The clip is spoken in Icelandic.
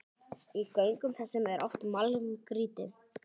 Í göngum þessum er oft málmgrýti.